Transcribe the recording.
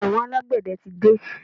Àwọn alágbẹ̀dẹ tí dé.